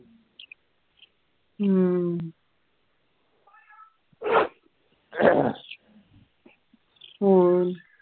ਹੂ ਹੋਰ